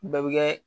Bɛɛ bɛ kɛ